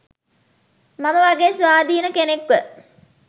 මම වගේ ස්වාධීන කෙනෙක්ව